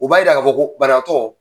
U b'a jira ka fɔ ko banabagatɔ